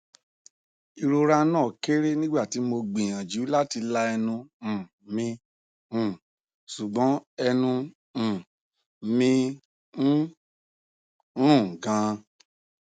irora na kere nigbati mo gbiyanju lati la ẹnu um mi um sugbon ẹnu um mi n run gan